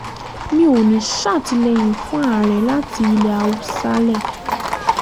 mi ò ní í ṣàtìlẹ́yìn fún ààrẹ láti ilẹ̀ haúsálẹ́